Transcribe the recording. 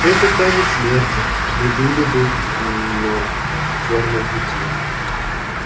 этот танец смерти мы были бы на верном пути